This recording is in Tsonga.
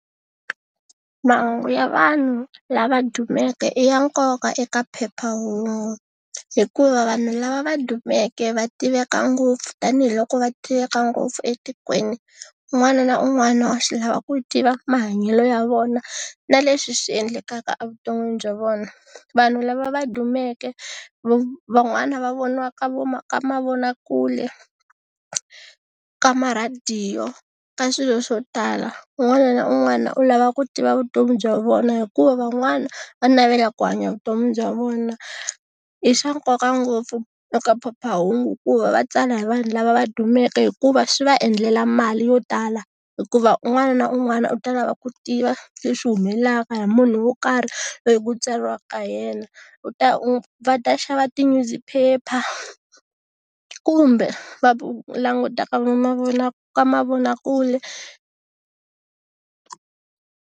Mahungu ya vanhu lava dumeke i ya nkoka eka phephahungu hikuva vanhu lava va dumeke va tiveka ngopfu tanihiloko va tiveka ngopfu etikweni un'wana na un'wana wa swi lava ku tiva mahanyelo ya vona na leswi swi endlekaka evuton'wini bya vona. Vanhu lava va dumeke van'wana va voniwaka ka mavonakule, ka marhadiyo, ka swilo swo tala un'wana na un'wana u lava ku tiva vutomi bya vona hikuva van'wana va navelaka ku hanya vutomi bya vona. I swa nkoka ngopfu eka phephahungu ku va va tsala hi vanhu lava va dumeke hikuva swi va endlela mali yo tala hikuva un'wana na un'wana u ta lava ku tiva leswi humelelaka hi munhu wo karhi loyi ku tsariwaka hi yena u ta va ta xava tinyuziphepha, kumbe va languta ka ka mavonakule.